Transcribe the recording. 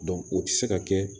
o tɛ se ka kɛ